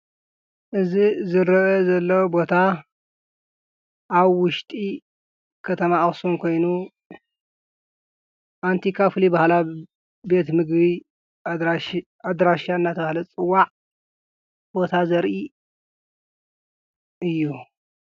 እዚ ዝረአ ዞሎ ቦታ ኣብ ዉሽጢ ከተማ ኣክሱም ኮይኑ ኣንቲካ ፈሉይ ባህላዊ ቤት ምግቢ ኣንቲካ አናተባሃለ ዝፅዋዓ ቦታ ዘርእ እዩ።